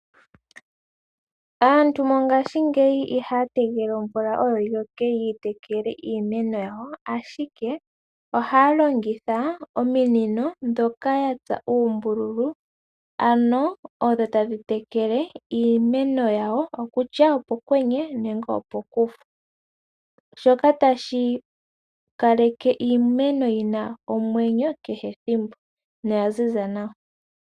Aantu mongashingeyi ihaya tegelele omvula oyo yi loke yi tekele iimeno yawo, ashike ohaya longitha ominino ndhoka ya tsa uumbululu, ano odho tadhi tekele iimeno yawo, kutya nduno opokwenye nenge opokufu, shoka tashi kaleke iimeno yi na omwenyo kehethimbo noya ziza nawa.